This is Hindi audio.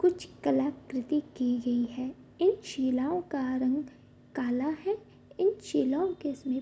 कुछ कलाकृति की गई है इन शिलाओं का रंग काला है इन शिलाओं के इसमें --